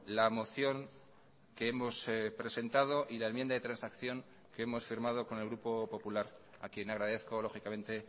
la moción que hemos presentado y la enmienda de transacción que hemos firmado con el grupo popular a quien agradezco lógicamente